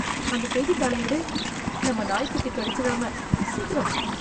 அந்த செய்தித்தாள எடு, நம்ம நாய்க்குட்டி கடிச்சுராம, சீக்கிரம்.